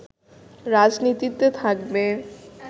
রাজনীতিতে থাকবে